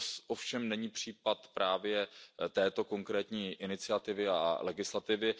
To ovšem není případ právě této konkrétní iniciativy a legislativy.